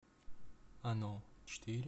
оно четыре